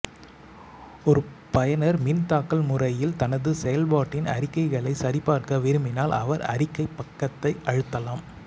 ஒரு பயனர்மின் தாக்கல் முறையில் தனது செயல்பாட்டின் அறிக்கைகளை சரிபார்க்க விரும்பினால் அவர் அறிக்கை பக்கத்தை அழுத்தலாம்